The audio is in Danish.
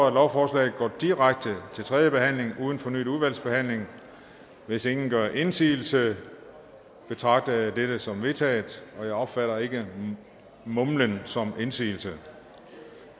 at lovforslaget går direkte til tredje behandling uden fornyet udvalgsbehandling hvis ingen gør indsigelse betragter jeg dette som vedtaget og jeg opfatter ikke mumlen som indsigelse